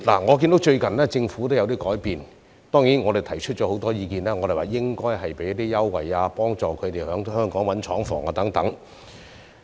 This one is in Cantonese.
我看到政府最近也有一些改變，當然，我們提出了很多意見，提出政府應該向他們提供優惠，以及幫助他們在香港找尋廠房等。